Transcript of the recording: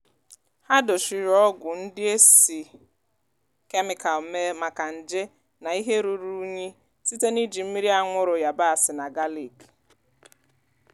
ha dochiri ọgwụ ndị e si kemịkal mee maka nje na ihe ruru unyi site n'iji mmiri anwụrụ yabasị na galik.